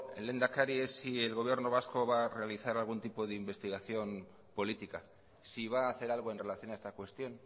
lehendakari es si el gobierno vasco va a realizar algún tipo de investigación política si va a hacer algo en relación a esta cuestión